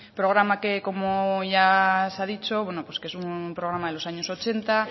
programa que como hoy ya se ha dicho es un programa de los años ochenta